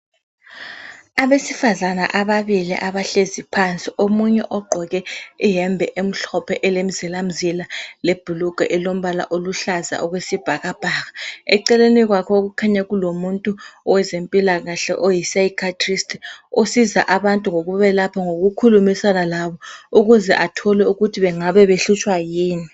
Abesifazana ababili abahlezi phansi omunye ogqoke iyembe emhlophe elemzilamzila lebhulugwe elombala oluhlaza okwesibhakabhaka. Eceleni kwakhe okukhanya kulomuntu owezempilakahle oyi psychiatrist osiza abantu ngokubelapha ngokukhulumisana labo ukuze athole ukuthi bengabe behlutshwa yini.